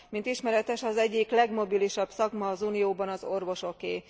Mint ismeretes, az egyik legmobilisabb szakma az unióban az orvosoké.